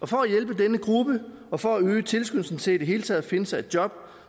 for at hjælpe denne gruppe og for at øge tilskyndelsen til i det hele taget at finde sig et job